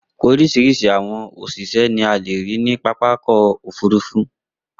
Oríṣiríṣi àwọn òṣìṣẹ́ ni a le rí ní pápá ọkọ̀-òfurufú.